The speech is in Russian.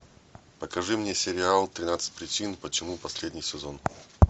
покажи мне сериал тринадцать причин почему последний сезон